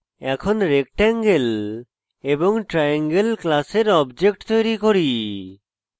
এখন rectangle এবং triangle class objects তৈরী করি